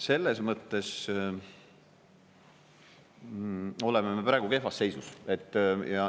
Selles mõttes me oleme praegu kehvas seisus.